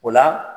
O la